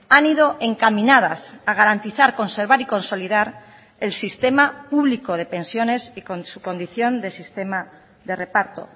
han ido encaminadas a garantizar conservar y consolidar el sistema público de pensiones y con su condición de sistema de reparto